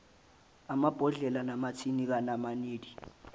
amabhodlela namathini kanamanedi